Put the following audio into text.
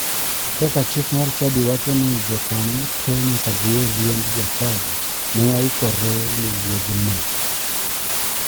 Kaka chik mar chadi wacho ni jokanyo te nyaka dhi e liend jachadi. Ne waikore ne wuodhno.